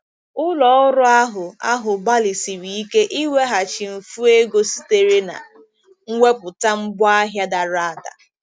Ụlọ ọrụ ahụ ahụ gbalịsiri ike ịweghachi mfu ego sitere na mwepụta ngwaahịa dara ada.